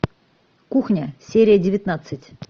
кухня серия девятнадцать